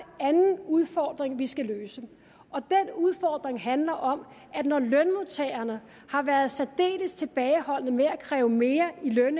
anden udfordring vi skal løse den udfordring handler om at når lønmodtagerne har været særdeles tilbageholdende med at kræve mere i løn